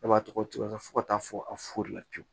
Ne b'a tɔgɔ fɔ ka taa fɔ a fulila pewu